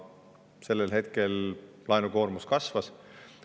Siis laenukoormus kasvas.